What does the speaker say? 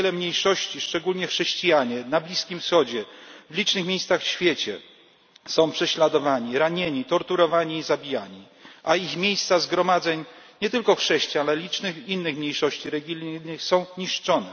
Wiele mniejszości, szczególnie chrześcijanie na Bliskim Wschodzie, w licznych miejscach w świecie są prześladowani, ranieni, torturowani i zabijani, a ich miejsca zgromadzeń, nie tylko chrześciajan, ale licznych innych mniejszości religijnych, są niszczone.